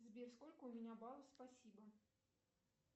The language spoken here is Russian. сбер сколько у меня баллов спасибо